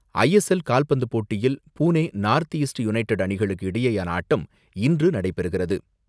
S L கால்பந்து போட்டியில் Pune United North East அணிகள் இடையேயான ஆட்டம் இன்று நடைபெறுகிறது.